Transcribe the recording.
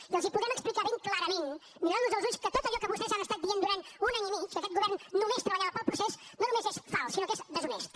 i els podrem explicar ben clarament mirant los als ulls que tot allò que vostès han estat dient durant un any i mig que aquest govern només treballava pel procés no només és fals sinó que és deshonest